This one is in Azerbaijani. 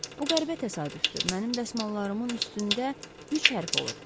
Bu qəribə təsadüfdür, mənim dəsmallarımın üstündə üç hərf olub.